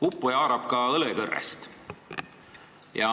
Uppuja haarab ka õlekõrrest.